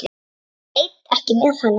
Ég veit ekki með hana.